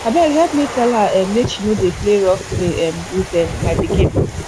abeg help me tell her um make she no dey play rough play um with um my pikin